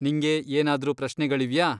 ನಿಂಗೆ ಏನಾದ್ರೂ ಪ್ರಶ್ನೆಗಳಿವ್ಯಾ?